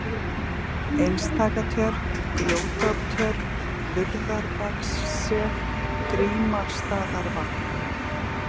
Einstakatjörn, Grjótártjörn, Hurðarbakssef, Grímarsstaðavatn